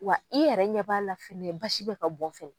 Wa i yɛrɛ ɲɛ b'a la fɛnɛ basi bɛ ka bɔn fɛ.